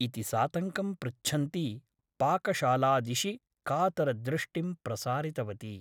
इति सातङ्कं पृच्छन्ती पाकशालादिशि कातरदृष्टिं प्रसारितवती ।